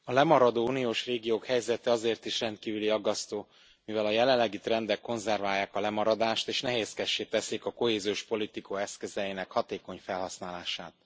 A lemaradó uniós régiók helyzete azért is rendkívül aggasztó, mivel a jelenlegi trendek konzerválják a lemaradást és nehézkessé teszik a kohéziós politika eszközeinek hatékony felhasználását.